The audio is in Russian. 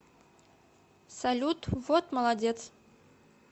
салют вот молодец